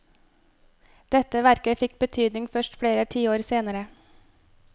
Dette verket fikk betydning først flere tiår senere.